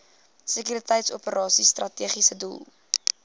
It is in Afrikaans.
sekuriteitsoperasies strategiese doel